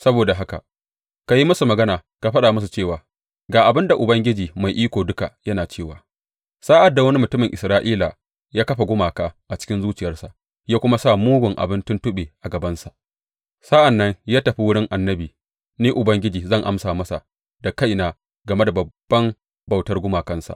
Saboda haka ka yi musu magana ka faɗa musu cewa, Ga abin da Ubangiji Mai Iko Duka yana cewa sa’ad da wani mutumin Isra’ila ya kafa gumaka a cikin zuciyarsa ya kuma sa mugun abin tuntuɓe a gabansa sa’an nan ya tafi wurin annabi, Ni Ubangiji zan amsa masa da kaina game da babban bautar gumakarsa.